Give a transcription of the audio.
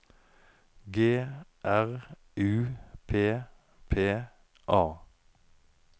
G R U P P A